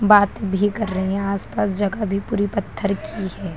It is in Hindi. बात भी कर रहे हैं यहाँ आस-पास जगह भी पूरी पत्थर की है।